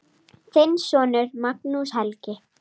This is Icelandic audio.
Þinn sonur, Magnús Helgi.